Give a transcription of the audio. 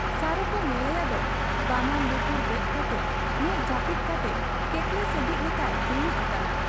ᱥᱟᱨᱚᱠᱚ ᱧᱮᱞᱮᱭᱟᱫᱚ ᱵᱟᱱᱟᱨ ᱞᱩᱛᱩᱨ ᱵᱮᱫ ᱠᱟᱴᱮ ᱢᱮᱫ ᱡᱟᱹᱯᱤᱫ ᱠᱟᱛᱮ ᱠᱮᱠᱮᱞᱥᱮᱫᱤᱡ ᱞᱮᱠᱟᱭ ᱫᱩᱲᱩᱵ ᱟᱠᱟᱱᱟ ᱾